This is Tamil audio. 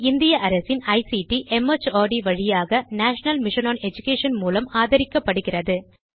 இது இந்திய அரசின் ஐசிடி மார்ட் வழியாக நேஷனல் மிஷன் ஒன் எடுகேஷன் மூலம் ஆதரிக்கப்படுகிறது